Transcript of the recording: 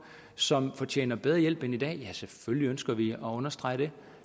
som fortjener bedre hjælp end i dag ja selvfølgelig ønsker vi at understrege det